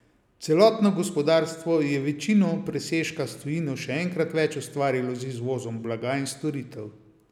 Celotno gospodarstvo je večino presežka s tujino še enkrat več ustvarilo z izvozom blaga in storitev.